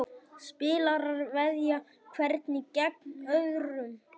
Spilarar veðja hverjir gegn öðrum.